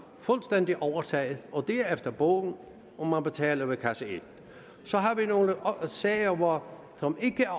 fuldstændig overtaget det er efter bogen og man betaler ved kasse et så har vi nogle sager som ikke er